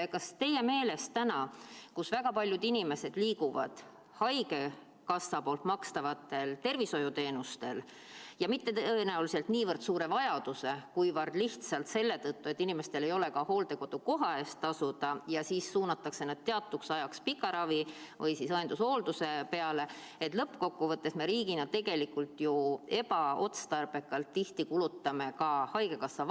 Kas teie meelest praegu, kui väga paljud inimesed liiguvad haigekassa makstavatel tervishoiuteenustel ja mitte tõenäoliselt niivõrd suure vajaduse, kuivõrd lihtsalt selle tõttu, et inimestel ei ole ka hooldekodukoha eest tasuda ja seetõttu suunatakse nad teatuks ajaks pika ravi või õendushoolduse peale, me riigina kulutame lõppkokkuvõttes tegelikult ju tihti ka ebaotstarbekalt haigekassa vahendeid?